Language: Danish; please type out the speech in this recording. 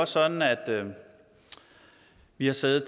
sådan at vi har siddet